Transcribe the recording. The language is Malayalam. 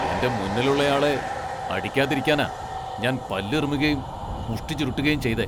എന്റെ മുന്നിലുള്ളയാളെ അടിക്കാതിരിക്കാനാ ഞാൻ പല്ല് ഇറുമ്മുകേം മുഷ്ടി ചുരുട്ടുകേം ചെയ്തെ.